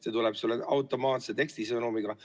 See tuleb sulle automaatse tekstisõnumiga.